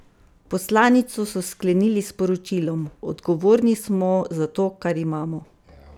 Poslanico so sklenili s sporočilom: "Odgovorni smo za to, kar imamo.